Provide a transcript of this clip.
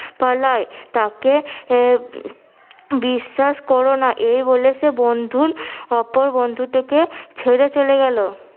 পালায় তাকে বিশ্বাস করো না এই বলে সে বন্ধুল অপর বন্ধুটিকে ছেড়ে চলে গেলো।